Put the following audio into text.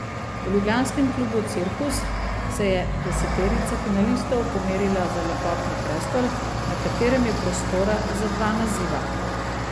V ljubljanskem klubu Cirkus se je deseterica finalistov pomerila za lepotni prestol, na katerem je prostora za dva naziva.